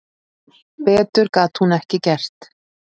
Betur gat hún ekki gert.